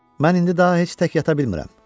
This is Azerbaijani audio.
Mən indi daha heç tək yata bilmirəm.